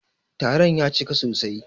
Taron ya cika sosai.